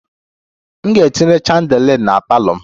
M ga-etinye chandelier na parlour m